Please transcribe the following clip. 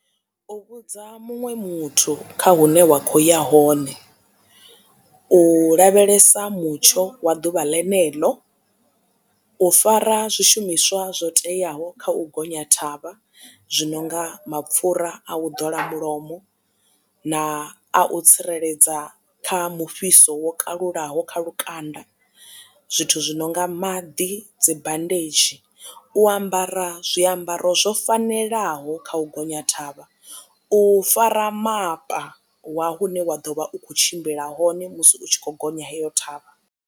U vhudza muṅwe muthu kha hune wa kho ya hone u lavhelesa mutsho wa ḓuvha lenelo u fara zwishumiswa zwo teaho kha u gonya thavha zwi nonga mapfura a u ḓola mulomo na a u tsireledza kha mufhiso wo kalulaho kha lukanda zwithu zwi no nga maḓi dzimbandedzhi u ambara zwiambaro zwo fanelaho kha u gonya thavha u fara mapa wa hune wa ḓo vha u kho tshimbila hone musi u tshi kho gonya heyo ṱhavha.